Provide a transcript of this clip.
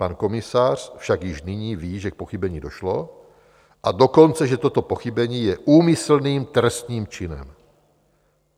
Pan komisař však již nyní ví, že k pochybení došlo, a dokonce že toto pochybení je úmyslným trestným činem.